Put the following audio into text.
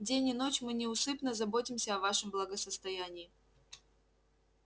день и ночь мы неусыпно заботимся о вашем благосостоянии